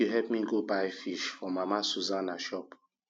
help me go buy fish for mama susanna shop